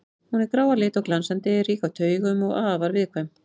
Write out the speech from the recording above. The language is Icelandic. Hún er grá að lit og glansandi, rík af taugum og afar viðkvæm.